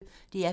DR P1